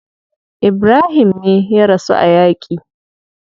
Ibrahim me ya rasu a yaki.